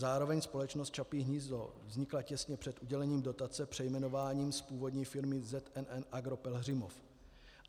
Zároveň společnost Čapí hnízdo vznikla těsně před udělením dotace přejmenováním z původní firmy ZNN Agro Pelhřimov.